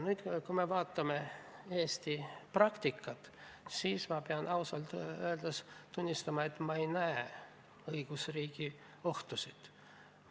Nüüd, kui me vaatame Eesti praktikat, siis ma pean ausalt öeldes tunnistama, et ma ei näe õigusriigi ohtusid.